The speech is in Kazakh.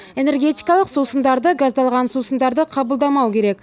энергетикалық сусындарды газдалған сусындарды қабылдамау керек